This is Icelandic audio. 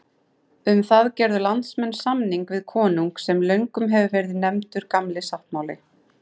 Um það gerðu landsmenn samning við konung sem löngum hefur verið nefndur Gamli sáttmáli.